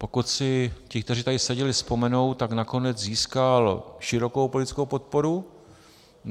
Pokud si ti, kteří tady seděli, vzpomenou, tak nakonec získal širokou politickou podporu.